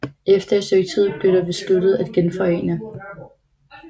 Efter et stykke tid blev det besluttet at genforene